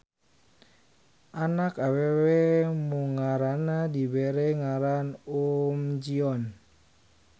Anak awewe munggaranna dibere ngaran Uhm Ji-on.